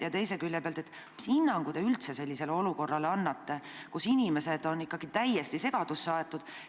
Ja teise külje pealt: mis hinnangu te üldse annate sellisele olukorrale, kus inimesed on täiesti segadusse aetud?